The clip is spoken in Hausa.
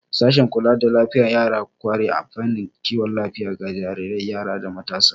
Sashen kula da lafiyar yara ya ƙware a fannin kiwon lafiya ga jarirai, yara, da matasa.